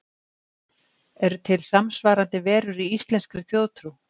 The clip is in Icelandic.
Eru til samsvarandi verur í íslenskri þjóðtrú?